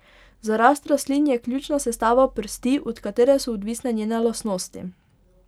Za rast rastlin je ključna sestava prsti, od katere so odvisne njene lastnosti.